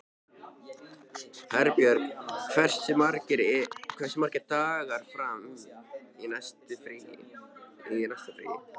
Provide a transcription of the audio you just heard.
Herbjörg, hversu margir dagar fram að næsta fríi?